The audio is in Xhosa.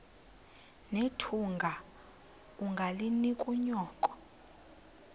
nethunga ungalinik unyoko